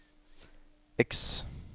X